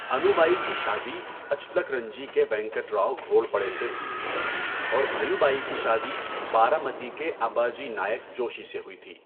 انوبائی کی شادی اچلکرنجی کے وینکٹراؤ گھوڑپڑے سے ہوئی تھی اور بھیوبائی کی شادی بارامتی کے اباجی نائک جوشی سے ہوئی تھی۔